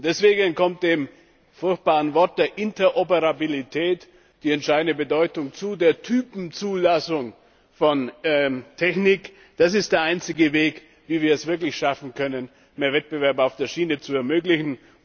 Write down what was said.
Deswegen kommt dem furchtbaren Wort der Interoperabilität entscheidende Bedeutung zu, der Typenzulassung von Technik, das ist der einzige Weg, wie wir es wirklich schaffen können, mehr Wettbewerb auf der Schiene zu ermöglichen.